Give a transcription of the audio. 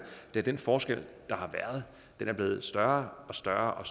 at den forskel der har været er blevet større og større og